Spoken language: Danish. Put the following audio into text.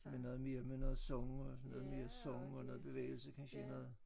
Med noget mere med noget sang og sådan noget mere sang og noget bevægelse kansje noget